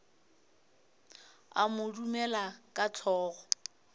a mo dumela ka hlogo